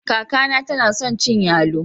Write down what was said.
Kaka na tana son cin yallo.